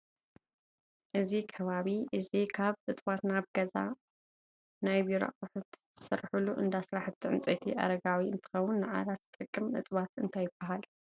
እዚ ከባቢ እዚ ካብ እፅዋት ናይ ገዛን ናይ ቢሮን ኣቁሑት ዝስርሑሉ እንዳ ስራሕቲ ውፅኢት ዕንፀይቲ ኣረጋዊ እንትከለውን ንዓራት ዝጠቅም እፅዋት እንታይ ይበሃል?